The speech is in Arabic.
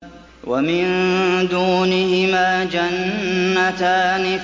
وَمِن دُونِهِمَا جَنَّتَانِ